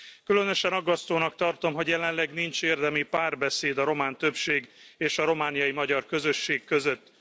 Különösen aggasztónak tartom, hogy jelenleg nincs érdemi párbeszéd a román többség és a romániai magyar közösség között.